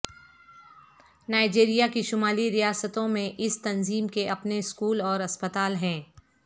Nigeria کی شمالی ریاستوں میں اس تنظیم کے اپنے سکول اور ہسپتال ہیں